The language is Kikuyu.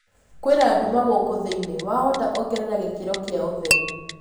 kwĩna ndũma guku thĩĩni wahota ongerera gĩkĩro gia ũtherĩ